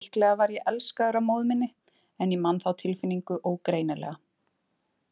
Líklega var ég elskaður af móður minni en ég man þá tilfinningu ógreinilega.